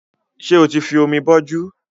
Ṣé o ti fi omi bọjú